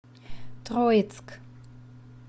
троицк